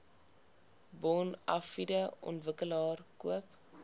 bonafide ontwikkelaar koop